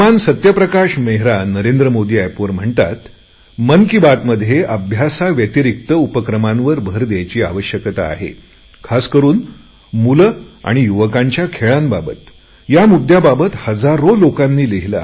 सत्यप्रकाश मेहरा नरेंद्र मोदी एपवर म्हणतात मन की बातमध्ये अभ्यासाव्यतिरिक्त उपक्रमांवर भर द्यायची आवश्यकता आहे खास करुन मुले आणि युवकांच्या खेळांबाबत या मुद्यांबाबत हजारो लोकांनी लिहिले आहे